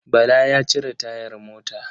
Bala ya cire tayar mota.